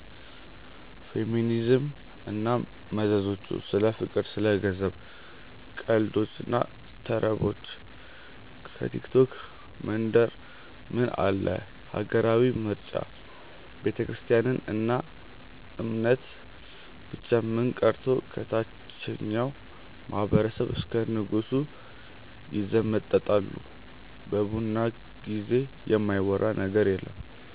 ፌሚኒዝም እና መዘዞቹ፣ ስለ ፍቅር፣ ስለ ገንዘብ፣ ቀልዶች እና ተረቦች፣ ከቲክቶክ መንደር ምን አለ፣ ሀገራዊ ምርጫ፣ ቤተክርስትያን እና እምነት፣ ብቻ ምን ቀርቶ ከታቸኛው ማህበረሰብ እስከ ንጉሱ ይዘመጠጣሉ በቡና ጊዜ የማይወራ ነገር የለም።